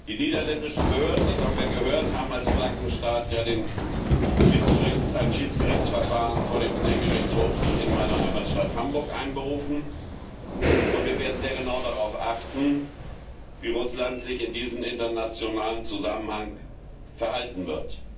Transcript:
Die niederländischen Behörden, das haben wir gehört, haben als Flaggenstaat ja ein Schiedsgerichtsverfahren vor dem Seegerichtshof in meiner Heimatstadt Hamburg einberufen, und wir werden sehr genau darauf achten, wie Russland sich in diesem internationalen Zusammenhang verhalten wird.